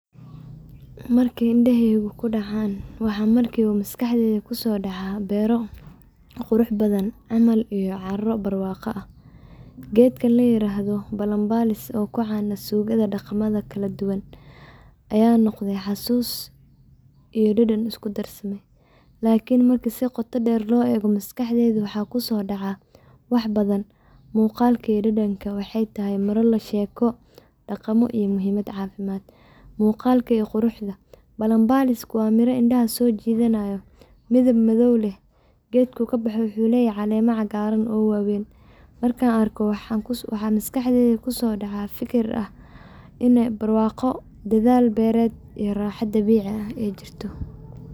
Marku endaheygu kudacan waxa markibo masqaxdeyda kusodacah beera qurux badan camal it cro barwaqa aah , keetga ayeradoh balmbama oo kucan dagamatha suugmatha , kaladuwan aya noqday xasusus iyo dadan iskudarsaday iklni markibsibqoto deer lo eekoh masqaxdeyda mxakusodaca waxbathan muqalka iyo dadankathoba waxaytahay mara sheeko dagamabiyo muhimada cafimada muqala iyo quruxda, balmbalis wa Mira indaha sojeethanayo mithib mathow leeh keetga dulka kabexi waxuleyaha calema cagaran oo waweeyn markan arkaoh maxa masqaxdeyda kusodacah fikir inay barqaqo dathal beeret iyo raxa dabeeci ah ee jirtoh.